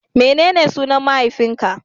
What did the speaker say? Menene sunan mahaifin ka?